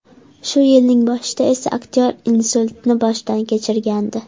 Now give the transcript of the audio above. Shu yilning boshida esa aktyor insultni boshdan kechirgandi.